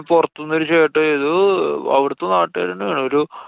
പൊറത്തുന്നൊരു ചേട്ടന്‍ ഏതോ അവിടത്തെ നാട്ടുകാരന്നെ ആണ്. ഒരു